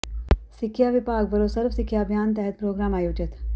ਸਿੱਖਿਆ ਵਿਭਾਗ ਵੱਲੋਂ ਸਰਵ ਸਿੱਖਿਆ ਅਭਿਆਨ ਤਹਿਤ ਪ੍ਰੋਗਰਾਮ ਆਯੋਜਿਤ